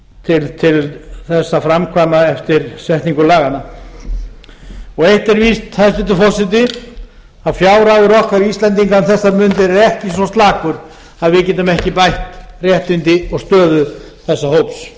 til þess að framkvæma eftir setningu laganna eitt er víst hæstvirtur forseti að fjárhagur okkar íslendinga um þessar mundir er ekki svo slakur að við getum ekki bætt réttindi og stöðu þessa hóps